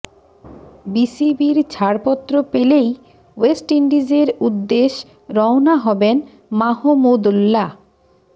বিসিবির ছাড়পত্র পেলেই ওয়েস্ট ইন্ডিজের উদ্দেশ রওনা হবেন মাহমুদুল্লাহ